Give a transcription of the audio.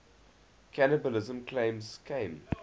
cannibalism claims came